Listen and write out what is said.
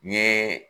N ye